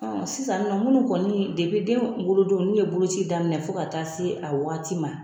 Sisan kɔni minnu kɔni den wolodon n'u ye boloci daminɛ fo ka taa se a waati ma.